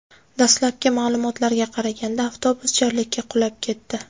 Dastlabki ma’lumotlarga qaraganda, avtobus jarlikka qulab ketdi.